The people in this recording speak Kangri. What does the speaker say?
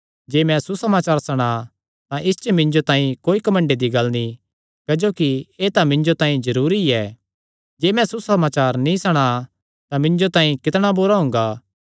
जे मैं सुसमाचार सणां तां इस च मिन्जो तांई कोई घमंडे दी गल्ल नीं क्जोकि एह़ तां मिन्जो तांई जरूरी ऐ जे मैं सुसमाचार नीं सणां तां मिन्जो तांई कितणा बुरा हुंगा